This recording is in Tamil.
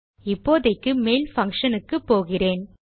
இப்போதைக்கு மெயில் பங்ஷன் க்கு போகிறேன்